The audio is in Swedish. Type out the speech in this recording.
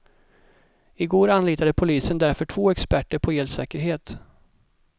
I går anlitade polisen därför två experter på elsäkerhet.